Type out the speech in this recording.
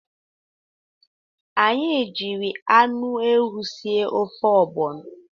Anyị jiri anụ ewu sie ofe ọgbọnọ.